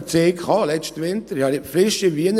Ich hatte im letzten Winter einen solchen «Verzeig».